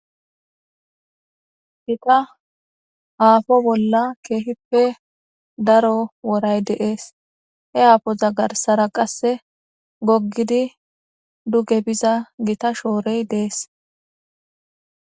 Gita aafo bolla keehippe daro woray deees. He aafoza garsara qasse goggidi duge biza gita shoorey dees.